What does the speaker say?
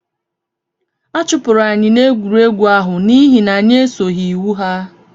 Achụpụrụ anyị n'egwuregwu ahụ n'ihi na anyị esoghị iwu ya